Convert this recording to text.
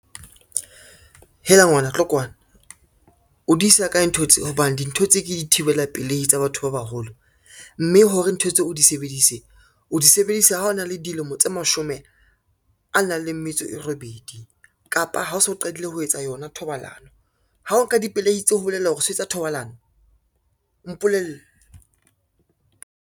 Hela ngwana tlo kwana, o di isa kae ntho tse hobane dintho tse ke di thibela pelehi tsa batho ba baholo, mme hore ntho tseo o di sebedise, o di sebedise ha o na le dilemo tse mashome a nang le metso e robedi, kapa ha o so qadile ho etsa yona thobalano, ha o nka dipelehi tse ho bolela hore o so etsa thobalano, mpolelle.